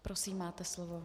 Prosím, máte slovo.